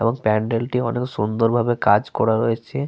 এবং প্যান্ডেল টি অনেক সুন্দর ভাবে কাজ করা রয়েছে।